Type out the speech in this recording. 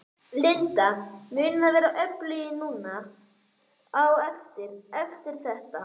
Linda: Munið þið verða öflugri núna á eftir, eftir þetta?